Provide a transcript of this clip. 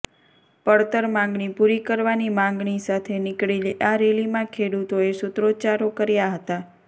પડતર માગણી પૂરી કરવાની માગણી સાથે નીકળેલી આ રેલીમાં ખેડૂતોએ સુત્રોચ્ચારો કર્યા હતા